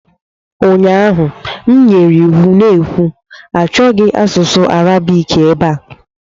ụnyaahụ, m nyere iwu na-ekwu "Achọghị asụsụ Arabiki ebe a!"